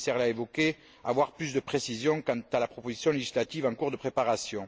le commissaire l'a évoquée, à avoir plus de précisions quant à la proposition législative en cours de préparation.